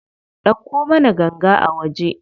Ɗauko mana ganga a waje.